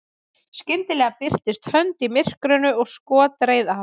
skyndilega birtist hönd í myrkrinu og skot reið af